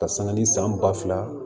Ka sanga ni san ba fila